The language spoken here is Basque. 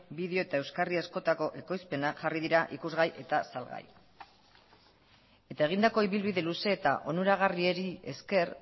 bideo eta euskarri askotako ekoizpenak jarri dira ikusgai eta salgai eta egindako ibilbide luze eta onuragarriari esker